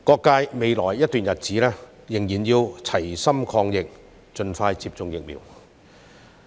在未來一段日子，社會各界仍要齊心抗疫，盡快接種疫苗。